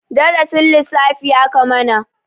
Darasin lissafi aka mana.